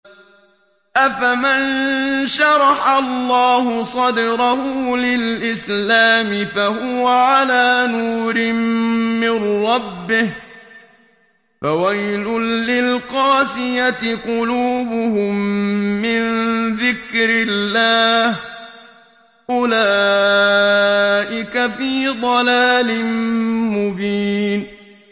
أَفَمَن شَرَحَ اللَّهُ صَدْرَهُ لِلْإِسْلَامِ فَهُوَ عَلَىٰ نُورٍ مِّن رَّبِّهِ ۚ فَوَيْلٌ لِّلْقَاسِيَةِ قُلُوبُهُم مِّن ذِكْرِ اللَّهِ ۚ أُولَٰئِكَ فِي ضَلَالٍ مُّبِينٍ